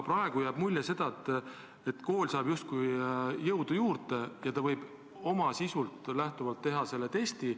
Praegu jääb mulje, et kool saab justkui jõudu juurde ja võib oma soovidest lähtuvalt teha selle testi.